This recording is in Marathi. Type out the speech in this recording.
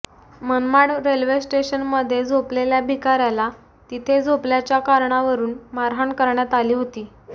मनमाड रेल्वे स्टेशनमध्ये झोपलेल्या भिकाऱ्याला तिथे झोपल्याच्या कारणावरुन मारहाण करण्यात आली होती